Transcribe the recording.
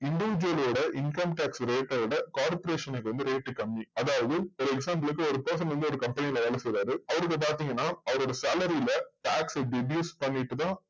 income tax rate ஓட corporation க்கு வந்து rate கம்மி அதாவது ஒரு example க்கு ஒரு person வந்து ஒரு company ல வேல செய்றாரு அவருக்கு பாத்திங்கன்னா அவரோட salary ல tax deduse பண்ணிட்டு தான்